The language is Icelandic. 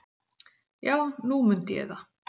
"""Já, nú mundi ég það."""